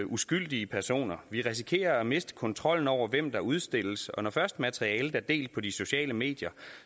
uskyldige personer vi risikerer at miste kontrollen over hvem der udstilles og når først materialet er delt på de sociale medier